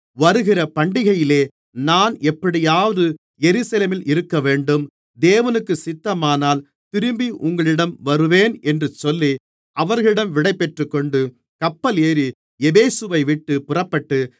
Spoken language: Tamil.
வருகிற பண்டிகையிலே நான் எப்படியாவது எருசலேமில் இருக்கவேண்டும் தேவனுக்குச் சித்தமானால் திரும்பி உங்களிடம் வருவேன் என்று சொல்லி அவர்களிடம் விடைபெற்றுக்கொண்டு கப்பல் ஏறி எபேசுவைவிட்டுப் புறப்பட்டு